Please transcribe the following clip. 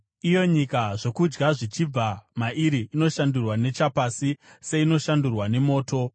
Iyo nyika, zvokudya zvichibva mairi, inoshandurwa nechapasi seinoshandurwa nemoto,